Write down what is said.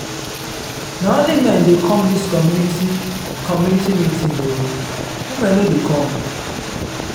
na only men dey come dis community community meeting o women no dey come.